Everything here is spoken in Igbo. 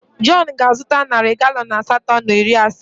Jọn ga-azụta narị galọn asatọ na iri asaa.